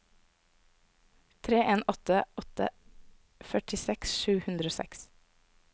tre en åtte åtte førtiseks sju hundre og seks